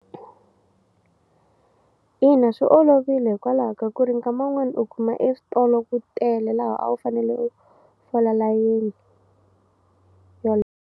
Ina, swi olovile hikwalaho ka ku ri nkama wun'wani u kuma eswitolo ku tele laha a wu fanele u fola layeni .